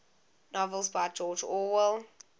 novels by george orwell